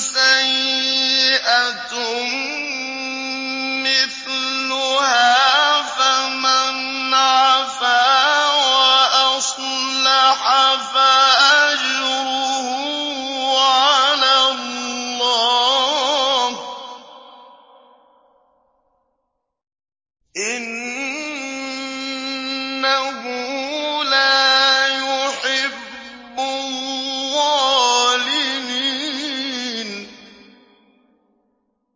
سَيِّئَةٌ مِّثْلُهَا ۖ فَمَنْ عَفَا وَأَصْلَحَ فَأَجْرُهُ عَلَى اللَّهِ ۚ إِنَّهُ لَا يُحِبُّ الظَّالِمِينَ